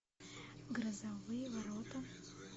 грозовые ворота